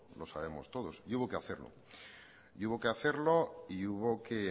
lo sabemos todos y hubo que hacerlo y hubo que hacerlo y hubo que